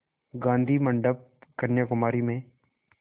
गाधी मंडपम् कन्याकुमारी में